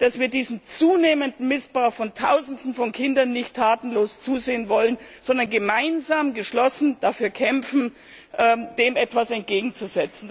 dass wir diesem zunehmenden Missbrauch von Tausenden von Kindern nicht tatenlos zusehen wollen, sondern gemeinsam, geschlossen dafür kämpfen, dem etwas entgegenzusetzen.